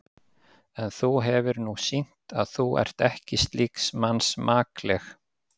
En þú hefir nú sýnt, að þú ert ekki slíks manns makleg.